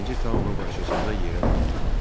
Birinci Taonun qarşısında yerə qoydu.